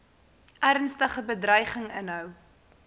ernstige bedreiging inhou